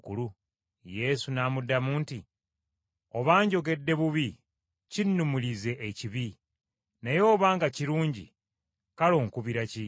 Yesu n’amuddamu nti, “Obanga njogedde bubi kinnumirize ekibi, naye obanga kirungi, kale onkubira ki?”